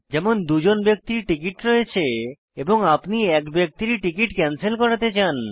যেমন 2 জন ব্যক্তির টিকিট রয়েছে এবং আপনি এক ব্যক্তির টিকিট ক্যানসেল করাতে চান